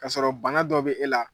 Ka sɔrɔ bana dɔ bi e la